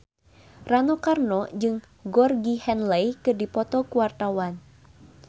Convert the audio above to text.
Rano Karno jeung Georgie Henley keur dipoto ku wartawan